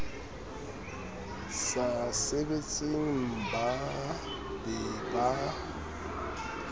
sa sebetseng mmba be ba